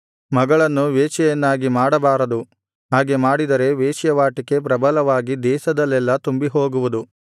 ಮಗಳನ್ನು ವೇಶ್ಯೆಯನ್ನಾಗಿ ಮಾಡಬಾರದು ಹಾಗೆ ಮಾಡಿದರೆ ವೇಶ್ಯಾವಾಟಿಕೆ ಪ್ರಬಲವಾಗಿ ದೇಶದಲ್ಲೆಲ್ಲಾ ತುಂಬಿಹೋಗುವುದು